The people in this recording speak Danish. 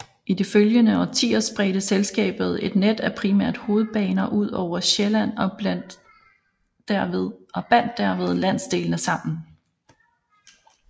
I de følgende årtier spredte selskabet et net af primært hovedbaner udover Sjælland og bandt derved landsdelene sammen